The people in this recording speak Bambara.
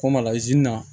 K'o ma